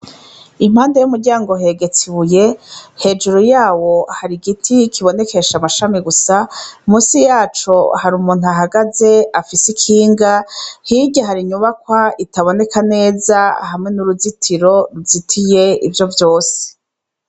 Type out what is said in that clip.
Impande y'umuryango hegetse ibuye, hejuru yawo hari igiti kibonekesha amashami gusa, musi yaco hari umuntu ahagaze afise ikinga, hirya hari inyubakwa itaboneka neza hamwe n'uruzitiro ruzitiye ivyo vyose.